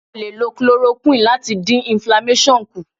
A lè lo Chloroquine láti dín inflamasion kù.